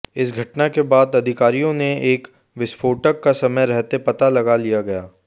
इस घटना के बाद अधिकारियों ने एक विस्फोटक का समय रहते पता लगा लिया गया